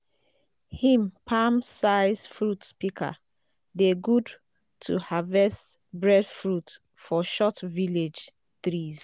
him palm sized fruit pika dey good to harvest breadfruit for short village trees